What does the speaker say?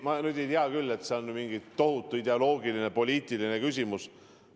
Ma nüüd ei tea küll, et see oleks mingi tohutu ideoloogiline, poliitiline küsimus.